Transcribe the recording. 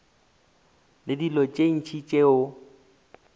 le dilo tše ntši tšeo